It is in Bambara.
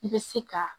I bɛ se ka